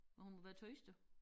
Men hun må være tørstig